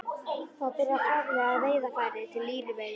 Þar var byrjað að framleiða veiðarfæri til línuveiða.